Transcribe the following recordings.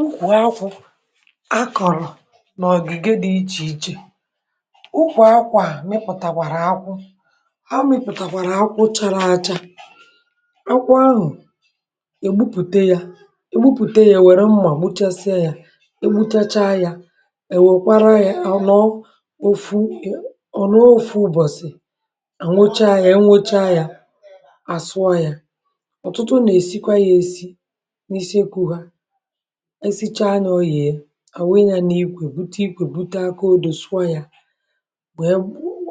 ụkwụ akwụ a kọ̀rọ̀ n’ọ̀gị̀gị̀ dị̇ ichè ichè, ụkwụ̇ akwu a mịpụ̀tàkwàrà akwụ a mịpụ̀tàkwàrà akwụ chara acha, akwụ ahụ̀ egbupùte yȧ egbupùte yȧ ẹ̀ wẹ̀rẹ mmȧ gbuchasịa yȧ egbuchacha yȧ èwèkwara yȧ anọọ ofu ọ̀ nọọ ofu̇ ụ̇bọ̀sì ànwocha yȧ ẹnwocha yȧ àsụọ yȧ ọ̀tụtụ nà èsikwa yȧ èsi n'isi ekwu ha esicha ya ọ yee awụnye ya na ikwè bute ikwè bute aka odò sụọ ya wee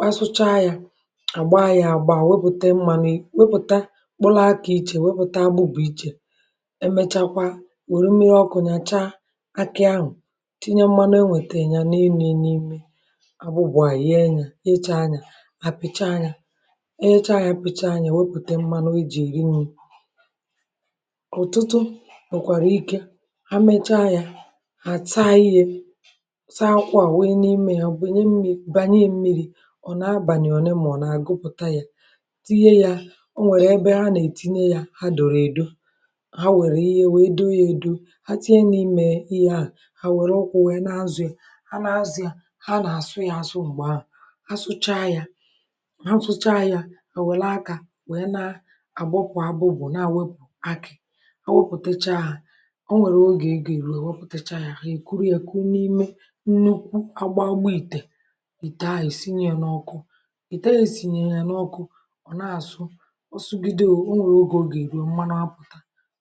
asụchaa ya agba ya agba, wepùte mmȧni wepùte mkpụlụ aku ichè wepùta agbụbù ichè emechakwa were mmiri ọkụ̇ nàchaa akị ahụ̀ tinye mmȧnu enwètè ya n’enu abụbà yà ye nyechaa yà mà pìcha yà wepùte mmȧnu eji eri nni otutu nwekwara ike ha mechaa ya, ha taa ihe taa kwa wee n’ime ya bụ nye mmiri bànye mmiri ọ na-abàli olemole agụpụta ya tinye ya o nwèrè ebe ha nè tinye ya ha dòrò èdo ha wèrè ihe wee do ya edo ha tinye n’ime ihe a hà wèrè ụkwụ wee nà azọ ya ha nà azọ ya ha n'asu ya asu mgbe ahu a sụcha ya ha sụcha ya hà wèlè akȧ wèe na-agbọkwọ abụbụbụ̀ naà wepù akị̀ ha wepụtacha ha onwere oge o ga eru ha kuru ya kụnye n’ime nnukwu agba agba ị̀tè, ị̀te ahu esinye ya n’ọkụ ị̀te a esinye yȧ n’ọkụ ọ̀ na-àsụ ọsụgide ò nwere oge o gà-èru o mmanu apụ̀ta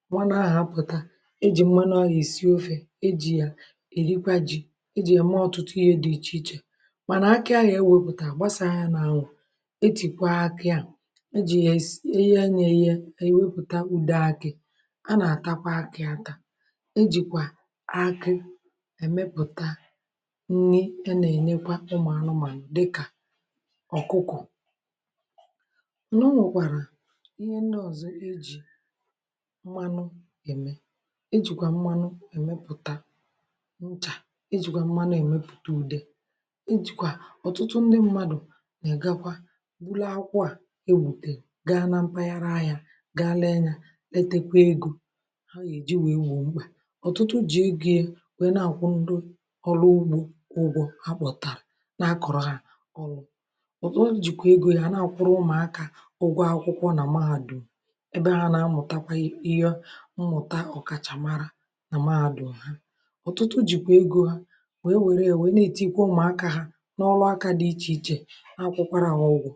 mmanụ ahụ̀ apụta ejì mmanụ ahu èsi ofė ejì yà èrikwa ji̇ ejì yà eme ọ̀tụtụ ihe dị̇ ichè ichè mànà akị ahụ̀ ewepụ̀ta gbasàa ya nà ànwụ̀ etìkwa akị à, e jì yà eyee yà èye ha èwepụ̀ta ụde akị̇, a natakwa aki ata, ejìkwà akị èmepụ̀ta nni a nà-ènyekwa ụmụ̀ anụmànụ̀ dịkà ọ̀kụkọ̀. o nwekwàrà ihe ndi ọ̀zọ ejì mmanụ ème ejìkwà mmanụ èmepụ̀ta nchà ejìkwà mmanụ èmepùte ùde ejìkwà ọ̀tụtụ ndị mmadụ̀ nà-a gakwa bụlu akwụ à ebùte gaa na mpaghara ahia gaa ree yȧ retekwa egȯ ha ga eji wee gboo mkpa ọ̀tụtụ ji̇ egȯ wèe na-àkwụ ndụ ọrụ ugbȯ ha kpọ̀tàrà na-akọ̀rọ̀ ha ọlụ̇ ọ̀tụtụ jìkwà egȯ ya na-àkwụrụ ụmụ̀akȧ ụgwọ akwụkwọ nà mahàdu̇m ebe ha nà-amụ̀takwa ihe mmụ̀ta ọ̀kàchàmara nà mahàdu̇m ha ọ̀tụtụ jìkwà egȯ ha wèe wèree ya na-ètikwa ụmụ̀akȧ ha n’ọlụ akȧ dị ichè ichè, n'akwukwara ha ụgwọ.